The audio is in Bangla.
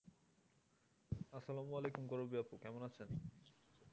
আসসালামু আলাইকুম করবী আপু কেমন আছেন?